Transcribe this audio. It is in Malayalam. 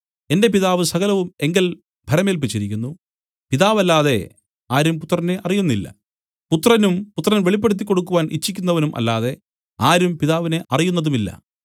എന്റെ പിതാവ് സകലവും എങ്കൽ ഭരമേല്പിച്ചിരിക്കുന്നു പിതാവല്ലാതെ ആരും പുത്രനെ അറിയുന്നില്ല പുത്രനും പുത്രൻ വെളിപ്പെടുത്തിക്കൊടുക്കുവാൻ ഇച്ഛിക്കുന്നവനും അല്ലാതെ ആരും പിതാവിനെ അറിയുന്നതുമില്ല